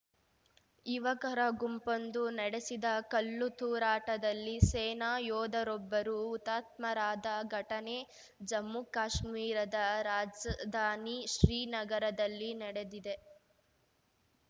ಯುವಕರ ಗುಂಪೊಂದು ನಡೆಸಿದ ಕಲ್ಲುತೂರಾಟದಲ್ಲಿ ಸೇನಾ ಯೋಧರೊಬ್ಬರು ಹುತಾತ್ಮರಾದ ಘಟನೆ ಜಮ್ಮುಕಾಶ್ಮೀರದ ರಾಜಧಾನಿ ಶ್ರೀನಗರದಲ್ಲಿ ನಡೆದಿದೆ